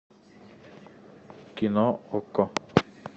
кино окко